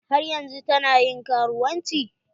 Har yanzun ta na ƴin karuwanci?